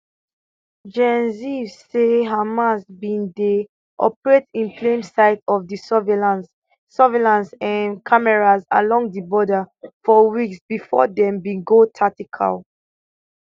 gen ziv say hamas bin dey operate in plain sight of di surveillance surveillance um cameras along di border for weeks bifor dem bin go tactical